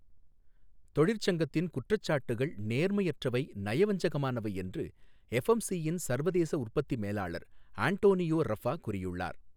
தொழிற்சங்கத்தின் குற்றச்சாட்டுகள் நேர்மையற்றவை நயவஞ்சகமானவை என்று எஃப்எம்சியின் சர்வதேச உற்பத்தி மேலாளர் அன்டோனியோ ரஃபா கூறியுள்ளார்.